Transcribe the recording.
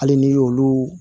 Hali n'i y'olu